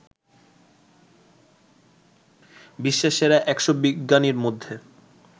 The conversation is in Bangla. বিশ্বের সেরা ১০০ বিজ্ঞানীর মধ্যে